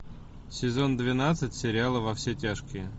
сезон двенадцать сериала во все тяжкие